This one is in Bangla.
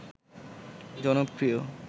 জনপ্রিয়